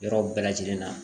Yɔrɔ bɛɛ lajɛlen na